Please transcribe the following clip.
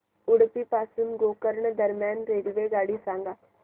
उडुपी पासून गोकर्ण दरम्यान रेल्वेगाडी सांगा